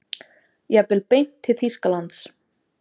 Jafnvel beint til Þýskalands.